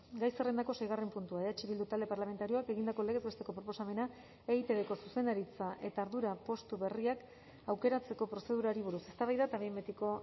gai zerrendako seigarren puntua eh bildu talde parlamentarioak egindako legez besteko proposamena eitbko zuzendaritza eta ardura postu berriak aukeratzeko prozedurari buruz eztabaida eta behin betiko